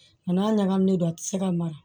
Nka n'a ɲagaminen don a tɛ se ka mara